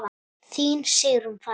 Þín Sigrún Fanney.